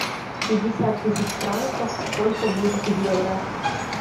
пятьдесят тысяч франков сколько будет в евро